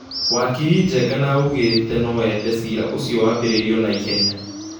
Wakiri Njegena augete nũ ende cira ũcio wambĩrĩrio naihenya